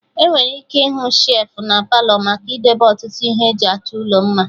Enwere ike ịhụ shelfụ na Palọ maka idebe ọtụtụ ihe eji achọ ụlọ mma